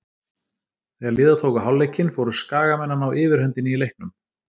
Þegar líða tók á hálfleikinn fóru Skagamenn að ná yfirhöndinni í leiknum.